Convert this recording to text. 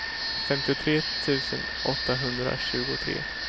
femtiotre tusen åttahundratjugotre